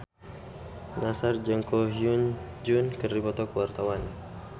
Nassar jeung Ko Hyun Jung keur dipoto ku wartawan